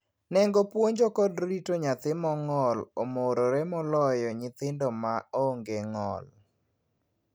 Nengo puonjo kod rito nyathi mong'ol omorore moloyo nyithindo ma onge ng'ol.